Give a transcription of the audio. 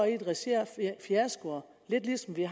i et regi af fiasko lidt ligesom det